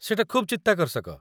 ସେଇଟା ଖୁବ୍ ଚିତ୍ତାକର୍ଷକ।